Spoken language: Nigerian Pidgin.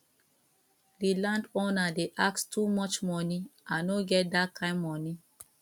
di landowner dey ask too much monie i no get dat kind monie